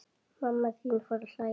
Mamma þín fór að hlæja.